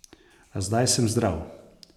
A zdaj sem zdrav.